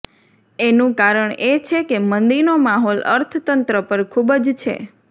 એનું કારણ એ છે કે મંદીનો માહોલ અર્થતંત્ર પર ખૂબ જ છે